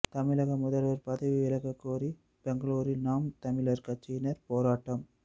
தமிழக முதல்வர் பதவி விலகக் கோரி பெங்களூரில் நாம் தமிழர் கட்சியினர் போராட்டம்